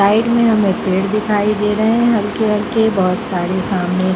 side में हमें पेड़ दिखाई दे रहे हैं हल्की-हल्की बहुत सारी सामने --